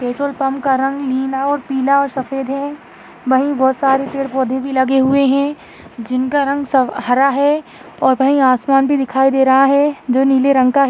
petrol pump का रंग नीला और पीला और सफ़ेद हैं वही बहुत सारे पेड़ पौधे भी लगे हुए हैं जिनका रंग स हरा है और वही आसमान भी दिखाई दे रहा है जो नील रंग का--